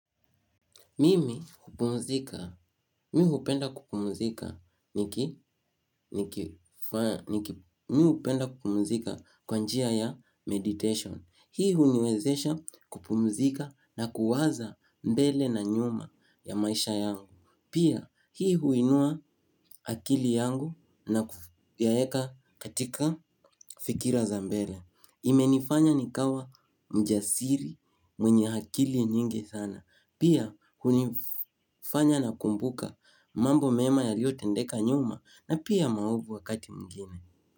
Mimi kupumzika, mimi hupenda kupumzika kwa njia ya meditation. Hii huniwezesha kupumzika na kuwaza mbele na nyuma ya maisha yangu. Pia, hii huinua akili yangu na kuyaweka katika fikra za mbele. Imenifanya nikawa mjasiri mwenye akili nyingi sana. Pia hunifanya na kumbuka mambo mema yaliyotendeka nyuma na pia maovu wakati mwingine.